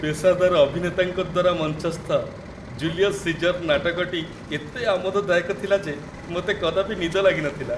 ପେସାଦାର ଅଭିନେତାଙ୍କ ଦ୍ୱାରା ମଞ୍ଚସ୍ଥ 'ଜୁଲିୟସ୍ ସିଜର' ନାଟକଟି ଏତେ ଆମୋଦଦାୟକ ଥିଲା ଯେ ମୋତେ କଦାପି ନିଦ ଲାଗିନଥିଲା।